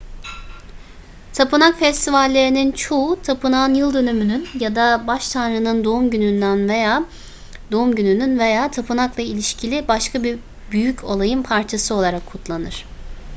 tapınak festivallerinin çoğu tapınağın yıldönümünün ya da baş tanrının doğum gününün veya tapınakla ilişkili başka bir büyük olayın parçası olarak kutlanır